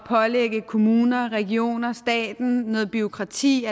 pålægge kommunerne regionerne og staten noget bureaukrati